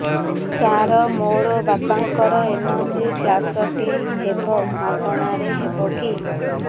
ସାର ମୋର ବାପାଙ୍କର ଏନଜିଓପ୍ଳାସଟି ହେବ ମାଗଣା ରେ ହେବ କି